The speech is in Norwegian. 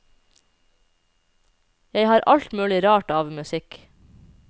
Jeg har alt mulig rart av musikk.